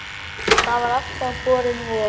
Það var alltaf borin von